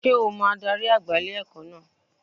Sé o mo adarí àgbà ilé-ẹ̀kọ́ náà